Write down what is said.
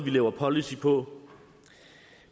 vi laver policy på